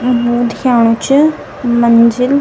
उ दिखेणु च मंजिल।